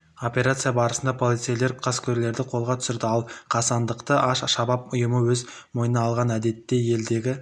операция барысында полицейлер қаскөйлерді қолға түсірді ал қастандықты аш-шабаб ұйымы өз мойнына алған әдетте елдегі